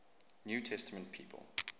new testament people